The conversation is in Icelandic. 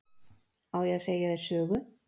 Á ég að segja þér sögu?